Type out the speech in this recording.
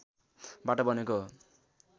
बाट बनेको हो